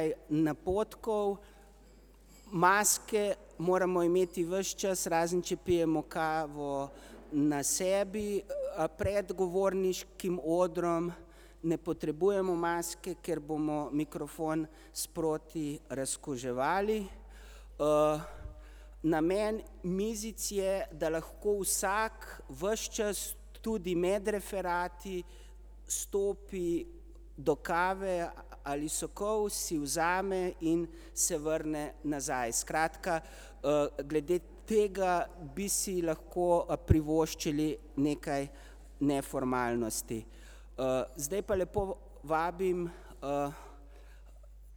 ()ej napotkov. Maske moramo imeti ves čas, razen če pijemo kavo na sebi, pred govorniškim odrom ne potrebujemo maske, ker bomo mikrofon sproti razkuževali. Namen mizic je, da lahko vsak ves čas, tudi med referati, stopi do kave ali sokov, si vzame in se vrne nazaj, skratka, glede tega bi si lahko privoščili nekaj neformalnosti. Zdaj pa lepo vabim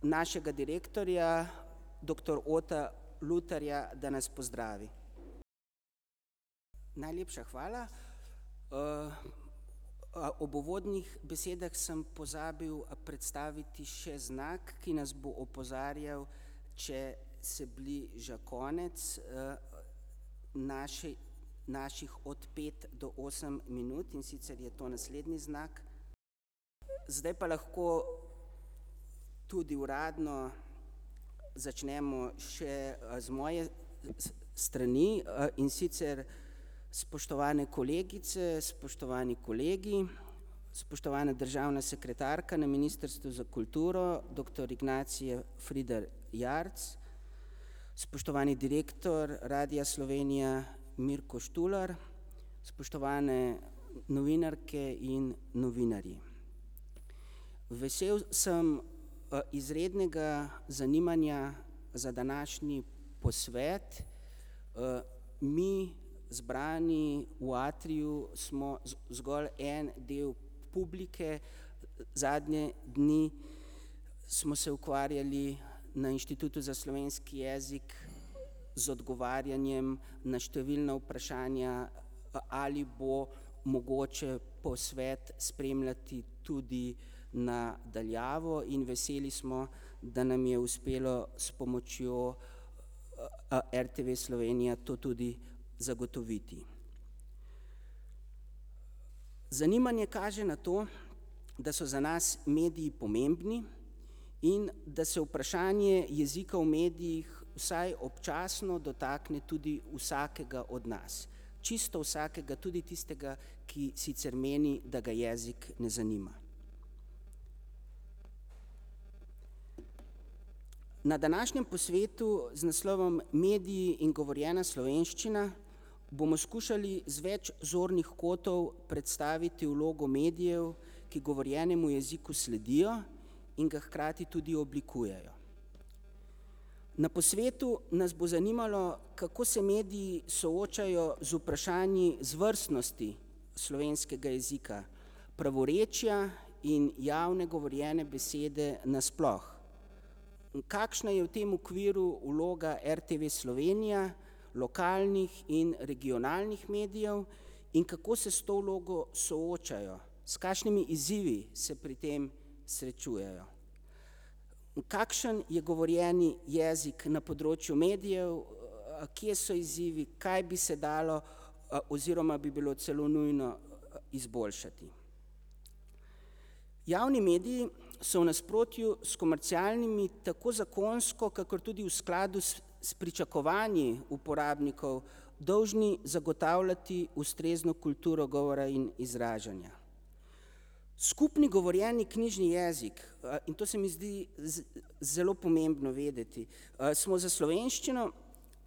našega direktorja, doktor [ime in priimek] ,da nas pozdravi. Najlepša hvala. Ob uvodnih besedah sem pozabil predstaviti še znak, ki nas bo opozarjal, če se bliža konec naših od pet do osem minut, in sicer je to naslednji znak. Zdaj pa lahko tudi uradno začnemo še z moje strani in sicer: Spoštovane kolegice, spoštovani kolegi, spoštovana državna sekretarka na ministrstvu za kulturo, doktor [ime in priimek] , spoštovani direktor Radia Slovenija [ime in priimek] , spoštovane novinarke in novinarji. Vesel sem izrednega zanimanja za današnji posvet. Mi, zbrani v Atriju smo zgolj en del publike. Zadnje dni smo se ukvarjali na Inštitutu za slovenski jezik z odgovarjanjem na številna vprašanja, ali bo mogoče posvet spremljati tudi na daljavo, in veseli smo, da nam je uspelo s pomočjo RTV Slovenija to tudi zagotoviti. Zanimanje kaže na to, da so za nas mediji pomembni in da se vprašanje jezika v medijih, vsaj občasno, dotakne tudi vsakega izmed nas. Čisto vsakega, tudi tistega, ki sicer meni, da ga jezik ne zanima. Na današnjem posvetu z naslovom Mediji in govorjena slovenščina bomo skušali z več zornih kotov predstaviti vlogo medijev, ki govorjenemu jeziku sledijo in ga hkrati tudi oblikujejo. Na posvetu nas bo zanimalo, kako se mediji soočajo z vprašanji zvrstnosti slovenskega jezika, pravorečja in javne govorjene besede nasploh. Kakšna je v tem okviru vloga RTV Slovenija, lokalnih in regionalnih medijev in kako se s to vlogo soočajo, s kašnimi izzivi se pri tem srečujejo. Kakšen je govorjeni jezik na področju medijev, kje so izzivi, kaj bi se dalo oziroma bi bilo celo nujno izboljšati. Javni mediji so v nasprotju s komercialnimi, tako zakonsko kakor tudi v skladu s s pričakovanji uporabnikov, dolžni zagotavljati ustrezno kulturo govora in izražanja. Skupni govorjeni knjižni jezik, in to se mi zdi zelo pomembno vedeti, smo za slovenščino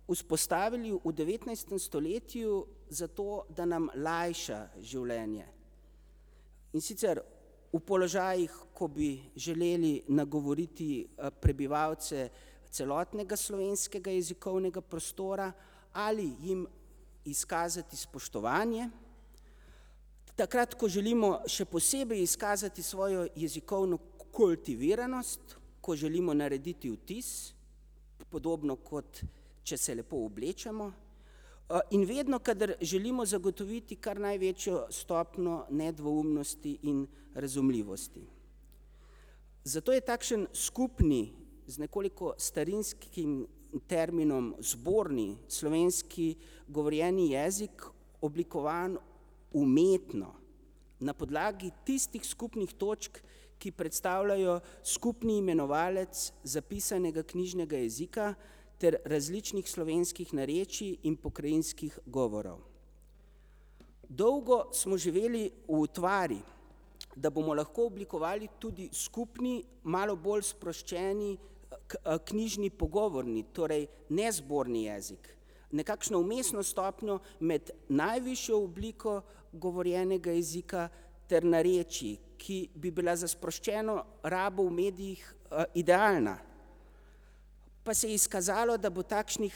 vzpostavili v devetnajstem stoletju, zato da nam lajša življenje. In sicer v položajih, ko bi želeli nagovoriti prebivalce celotnega slovenskega jezikovnega prostora ali jim izkazati spoštovanje, takrat, ko želimo še posebej izkazati svojo jezikovno kultiviranost, ko želimo narediti vtis, podobno kot če se lepo oblečemo. In vedno, kadar želimo zagotoviti kar največjo stopnjo nedvoumnosti in razumljivosti. Zato je takšen skupni, z nekoliko starinskim terminom, zborni slovenski govorjeni jezik, oblikovan umetno. Na podlagi tistih skupnih točk, ki predstavljajo skupni imenovalec zapisanega knjižnega jezika ter različnih slovenskih narečij in pokrajinskih govorov. Dolgo smo živeli v utvari, da bomo lahko oblikovali tudi skupni, malo bolj sproščeni knjižni pogovorni, torej nezborni jezik, nekakšno vmesno stopnjo med najvišjo obliko govorjenega jezika ter narečij, ki bi bila za sproščeno rabo v medijih idealna. Pa se je izkazalo, da bo takšnih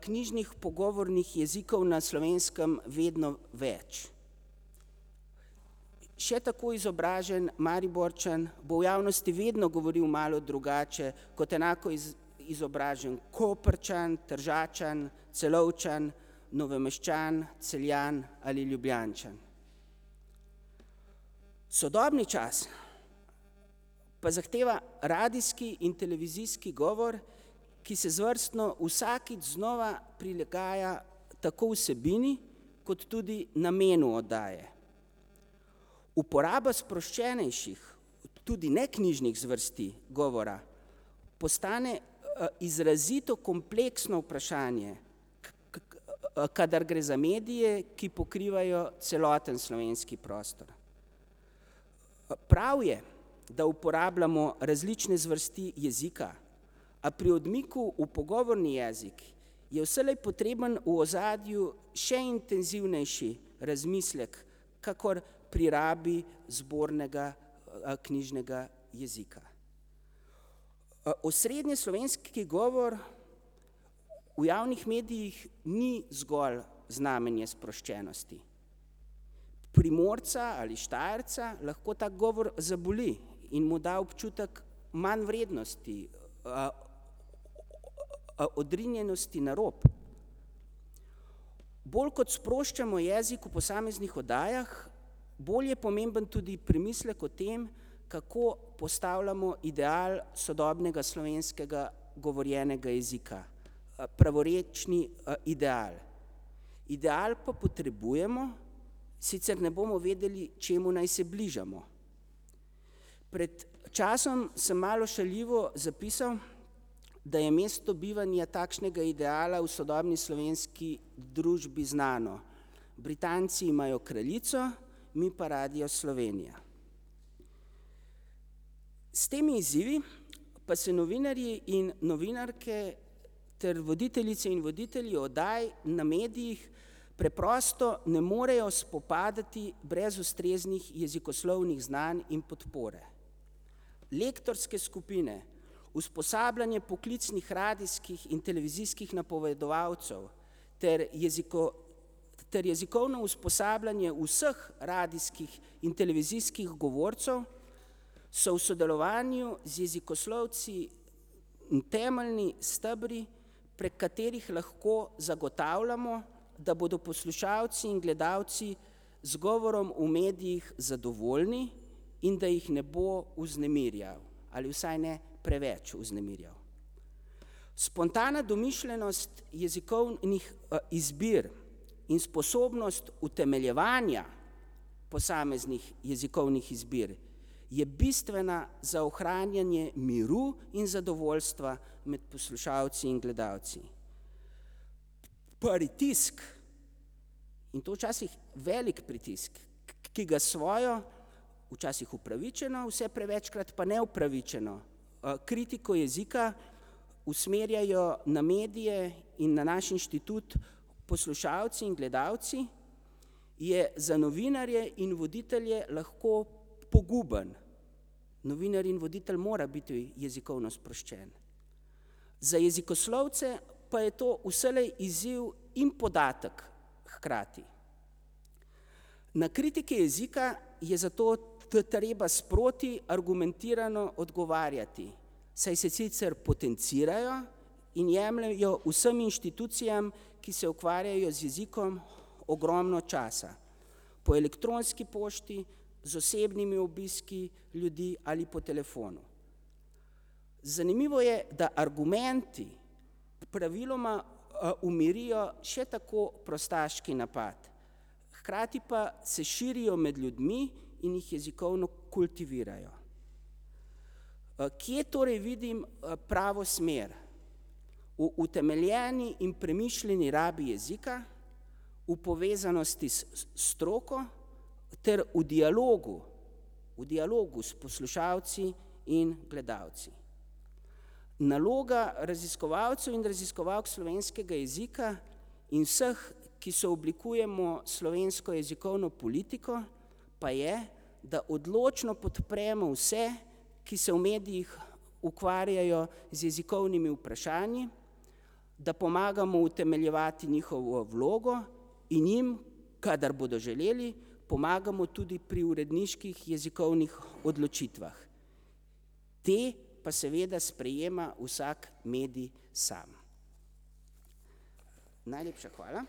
knjižnih pogovornih jezikov na Slovenskem vedno več. Še tako izobražen Mariborčan bo v javnosti vedno govoril malo drugače kot enako izobražen Koprčan, Tržačan, Celovčan, Novomeščan, Celjan ali Ljubljančan. Sodobni čas pa zahteva radijski in televizijski govor, ki se zvrstno vsakič znova prilagaja tako vsebini kot tudi namenu oddaje. Uporaba sproščenejših, tudi neknjižnih zvrsti govora postane izrazito kompleksno vprašanje, kadar gre za medije, ki pokrivajo celoten slovenski prostor. Prav je, da uporabljamo različne zvrsti jezika, a pri odmiku v pogovorni jezik je vselej potreben v ozadju še intenzivnejši razmislek kakor pri rabi zbornega knjižnega jezika. Osrednjeslovenski govor v javnih medijih ni zgolj znamenje sproščenosti. Primorca ali Štajerca lahko tak govor zaboli in mu da občutek manjvrednosti, odrinjenosti na rob. Bolj kot sproščamo jezik v posameznih oddajah, bolj je pomemben tudi premislek o tem, kako postavljamo ideal sodobnega slovenskega govorjenega jezika, pravorečni ideal. Ideal pa potrebujemo, sicer ne bomo vedeli, čemu naj se bližamo. Pred časom sem malo šaljivo zapisal, da je mesto bivanja takšnega ideala v sodobni slovenski družbi znano. Britanci imajo kraljico, mi pa Radio Slovenija. S temi izzivi pa se novinarji in novinarke ter voditeljice in voditelji oddaj na medijih preprosto ne morejo spopadati brez ustreznih jezikoslovnih znanj in podpore. Lektorske skupine, usposabljanje poklicnih radijskih in televizijskih napovedovalcev ter ter jezikovno usposabljanje vseh radijskih in televizijskih govorcev so v sodelovanju z jezikoslovci temeljni stebri, prek katerih lahko zagotavljamo, da bodo poslušalci in gledalci z govorom v medijih zadovoljni in da jih ne bo vznemirjal ali vsaj ne preveč vznemirjal. Spontana domišljenost jezikovnih izbir in sposobnost utemeljevanja posameznih jezikovnih izbir je bistvena za ohranjanje miru in zadovoljstva med poslušalci in gledalci. Pritisk, in to včasih velik pritisk, ki ga s svojo, včasih upravičeno, vse prevečkrat pa neupravičeno kritiko jezika usmerjajo na medije in na naš inštitut poslušalci in gledalci, je za novinarje in voditelje lahko poguben. Novinar in voditelj mora biti jezikovno sproščen. Za jezikoslovce pa je to vselej izziv in podatek hkrati. Na kritike jezike je zato treba sproti argumentirano odgovarjati, saj se sicer potencirajo in jemljejo vsem inštitucijam, ki se ukvarjajo z jezikom, ogromno časa. Po elektronski pošti, z osebnimi obiski ljudi ali po telefonu. Zanimivo je, da argumenti, praviloma umirijo še tako prostaški napad, hkrati pa se širijo med ljudmi in jih jezikovno kultivirajo. Kje torej vidim pravo smer? V utemeljeni in premišljeni rabi jezika, v povezanosti s s stroko ter v dialogu, v dialogu s poslušalci in gledalci. Naloga raziskovalcev in raziskovalk slovenskega jezika in vseh, ki sooblikujemo slovensko jezikovno politiko, pa je, da odločno podpremo vse, ki se v medijih ukvarjajo z jezikovnimi vprašanji, da pomagamo utemeljevati njihovo vlogo in jim, kadar bodo želeli, pomagamo tudi pri uredniških jezikovnih odločitvah. Te pa seveda sprejema vsak medij sam. Najlepša hvala.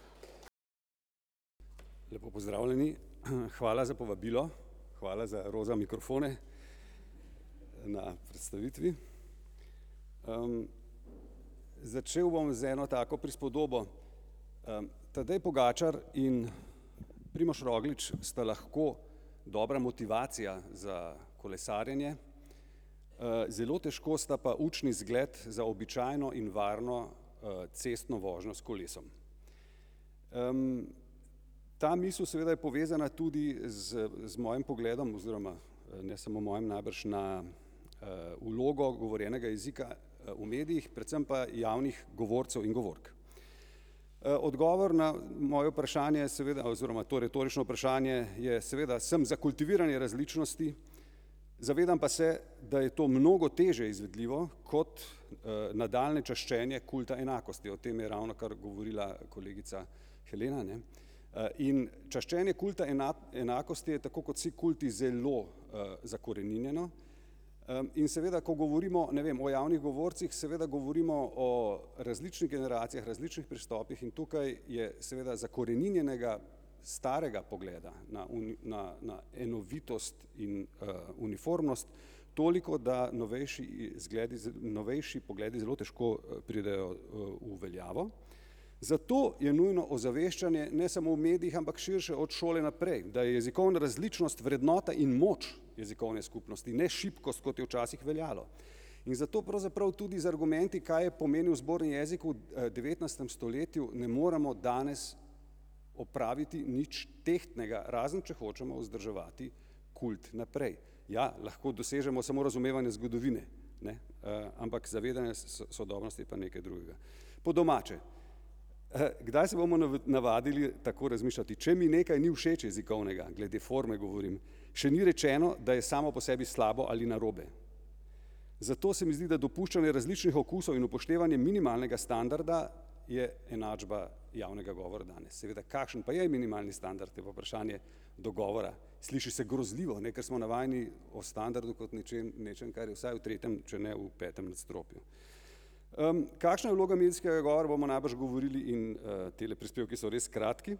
Lepo pozdravljeni, hvala za povabilo, hvala za roza mikrofone na predstavitvi. Začel bom z eno tako prispodobo, Tadej Pogačar in Primož Roglič sta lahko dobra motivacija za kolesarjenje, zelo težko sta pa učni zgled za običajno in varno cestno vožnjo s kolesom. Ta misel seveda je povezana tudi z z mojim pogledom oziroma ne samo mojim, najbrž, na vlogo govorjenega jezika v medijih, predvsem pa javnih govorcev in govork. Odgovor na moje vprašanje seveda oziroma to retorično vprašanje je, seveda, sem za kultiviranje različnosti, zavedam pa se, da je to mnogo težje izvedljivo kot nadaljnje čaščenje kulta enakosti, o tem je ravnokar govorila kolegica Helena, ne. In čaščenje kulta enakosti je, tako kot vsi kulti, zelo zakoreninjeno, in seveda, ko govorimo, ne vem, o javnih govorcih, seveda govorimo o različnih generacijah, različnih pristopih in tukaj je seveda zakoreninjenega starega pogleda na na na enovitost in uniformnost toliko, da novejši zgledi novejši pogledi, zelo težko pridejo v veljavo. Zato je nujno ozaveščanje, ne samo v medijih, ampak širše, od šole naprej, da je jezikovna različnost vrednota in moč jezikovne skupnosti, ne šibkost, kot je včasih veljalo. In zato pravzaprav tudi z argumenti, kaj je pomenil zborni jezik v devetnajstem stoletju, ne moremo danes opraviti nič tehtnega, razen če hočemo vzdrževati kult naprej. Ja, lahko dosežemo samo razumevanje zgodovine, ne, ampak zavedanje sodobnosti je pa nekaj drugega. Po domače - kdaj se bomo navadili tako razmišljati, če mi nekaj ni všeč jezikovnega, glede forme govorim, še ni rečeno, da je samo po sebi slabo ali narobe. Zato se mi zdi, da dopuščanje različnih okusov in upoštevanje minimalnega standarda je enačba javnega govora danes, seveda kakšen pa je minimalni standard, je pa vprašanje dogovora. Sliši se grozljivo, ne, ker smo navajeni o standardu kot nečem, nečem, kar je vsaj v tretjem, če ne v petem nadstropju. Kakšna je vloga medijskega govora, bomo najbrž govorili in tile prispevki so res kratki,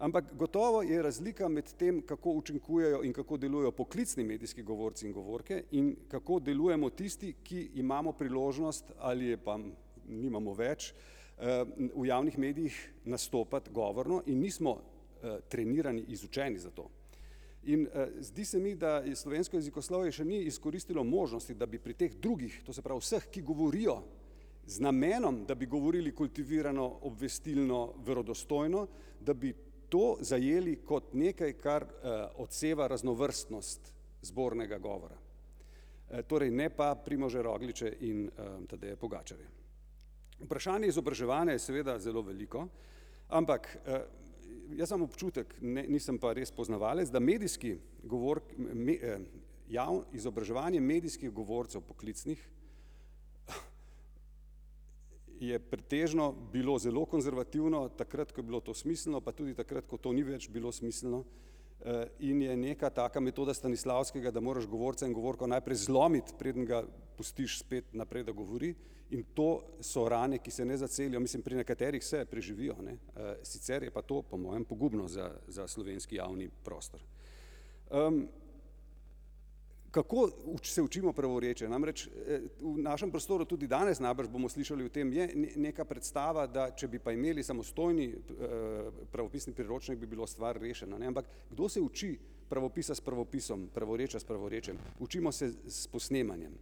ampak gotovo je razlika med tem, kako učinkujejo in kako delujejo poklicni medijski govorci in govorke, in kako delujemo tisti, ki imamo priložnost, ali je pa nimamo več, v javnih medijih nastopati govorno in nismo trenirani, izučeni za to. In zdi se mi, da je slovensko jezikoslovje še ni izkoristilo možnosti, da bi pri teh drugih, to se pravi vseh, ki govorijo z namenom, da bi govorilo kultivirano, obvestilno, verodostojno, da bi to zajeli kot nekaj, kar odseva raznovrstnost zbornega govora. Torej ne pa Primoža Rogliča in Tadeja Pogačarja. Vprašanje izobraževanja je seveda zelo veliko, ampak jaz imam občutek, ne, nisem pa res poznavalec, da medijski izobraževanje medijskih govorcev poklicnih je pretežno bilo zelo konzervativno, takrat, ko je bilo to smiselno, pa tudi takrat, ko to ni več bilo smiselno. In je neka taka metoda Stanislavskega, da moraš govorca in govorko najprej zlomiti, preden ga pustiš spet naprej, da govori, in to so rane, ki se ne zacelijo, mislim, pri nekaterih se, preživijo, ne, sicer je pa to, po mojem, pogubno, za za slovenski javni prostor. Kako se učimo pravorečja, namreč v našem prostoru, tudi danes najbrž bomo slišali o tem, je neka predstava, da če bi pa imeli samostojni pravopisni priročnik, bi bilo stvar rešena, ne, ampak kdo se uči pravopisa s pravopisom, pravorečja s pravorečjem, učimo se s posnemanjem.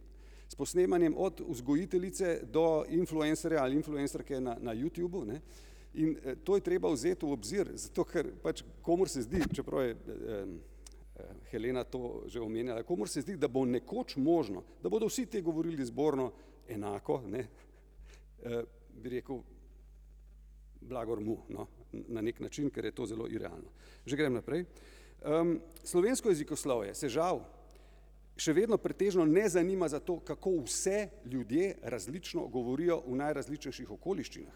S posnemanjem od vzgojiteljice, do influencerja ali influencerke na na Youtubu, ne, in to je treba vzeti v obzir, zato ker pač komur se zdi, čeprav je Helena to že omenjala, komur se zdi, da bo nekoč možno, da bodo vsi ti govorili zborno enako, ne, bi rekel blagor mu, no, na neki način, ker je to zelo irealno. Že grem naprej. Slovensko jezikoslovje se žal še vedno pretežno ne zanima za to, kako vse ljudje različno govorijo v najrazličnejših okoliščinah.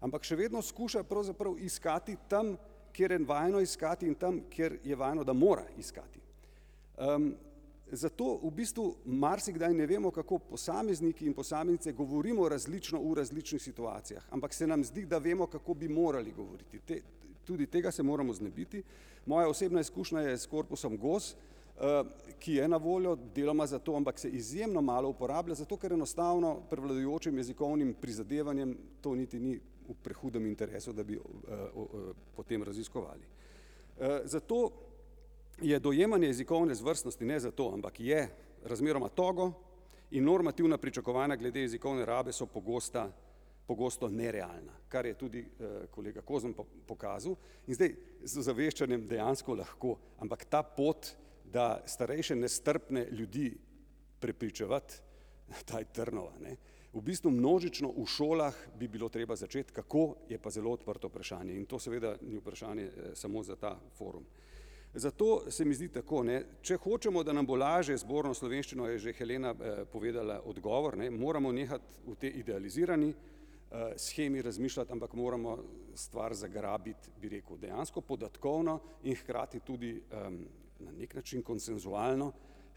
Ampak še vedno skušajo pravzaprav iskati tam, kjer je vajeno iskati in tam, kjer je vajeno, da mora iskati. Zato v bistvu marsikdaj ne vemo, kako posamezniki in posameznice govorimo različno v različnih situacijah, ampak se nam zdi, da vemo, kako bi morali govoriti, te, tudi tega se moramo znebiti. Moja osebna izkušnja je s korpusom Gos, ki je na voljo, deloma zato, ampak se izjemno malo uporablja, zato ker enostavno prevladujočim jezikovnim prizadevanjem to niti ni v prehudem interesu, da bi o po tem raziskovali. Zato je dojemanje jezikovne zvrstnosti, ne zato, ampak je razmeroma togo in normativna pričakovanja glede jezikovne rabe so pogosta, pogosto nerealna, kar je tudi kolega Kozma po pokazal. In zdaj z ozaveščanjem dejansko lahko, ampak ta pot, da starejše nestrpne ljudi prepričevati, ta je trnova, ne. V bistvu množično v šolah bi bilo treba začeti, kako, je pa zelo odprto vprašanje in to seveda ni vprašanje samo za ta forum. Zato se mi zdi tako, ne, če hočemo, da nam bo lažje z zborno slovenščino, je že Helena povedala odgovor, ne, moramo nehati v tej idealizirani shemi razmišljati, ampak moramo stvar zagrabiti, bi rekel, dejansko podatkovno in hkrati tudi na neki način konsenzualno,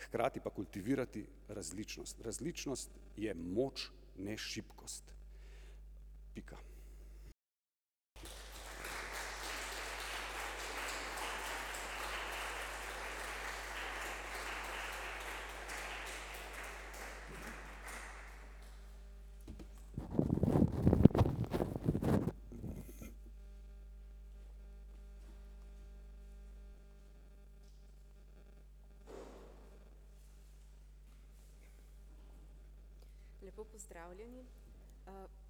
hkrati pa kultivirati različnost, različnost je moč, ne šibkost. Pika. Lepo pozdravljeni.